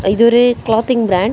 இது ஒரு clothing brand .